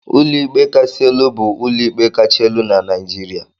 Ụlọikpe Kasị Elu bụ ụlọikpe kacha elu na Naijiria.